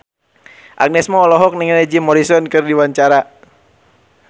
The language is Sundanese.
Agnes Mo olohok ningali Jim Morrison keur diwawancara